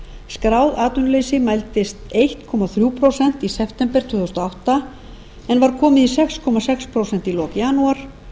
skráð atvinnuleysi mældist einn komma þrjú prósent í september tvö þúsund og átta en var komið í sex komma sex prósent í lok janúar